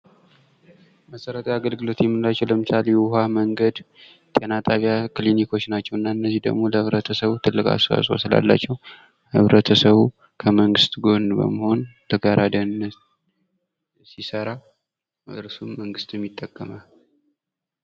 መሰረታዊ አገልግሎት የምንላቸው ለምሳሌ ውሀ፣ መንገድ፣ ጤና ጣቢያ ክሊኒኮች ናቸው። እና እነዚህ ደግሞ ለሕብረተሰቡ ትልቅ አስተዋጾ ስላላቸው ህብረተሰቡ ከመንግስት ጎን በመሆን ለጋራ ደህንነት ሲሰራ እርሱም መንግስትም ይጠቀማል።